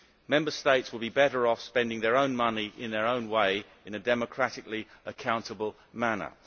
Member States would be better off spending their own money in their own way in a democratically accountable manner.